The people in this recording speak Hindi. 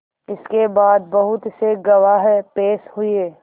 इसके बाद बहुत से गवाह पेश हुए